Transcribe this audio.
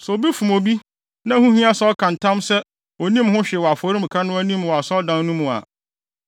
“Sɛ obi fom obi, na ɛho hia sɛ ɔka ho ntam sɛ onnim ho hwee wɔ afɔremuka no anim wɔ Asɔredan no mu a,